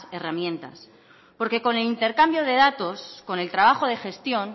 herramientas porque con el intercambio de datos con el trabajo de gestión